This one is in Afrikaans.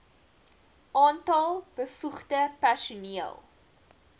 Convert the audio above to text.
aantal bevoegde personeel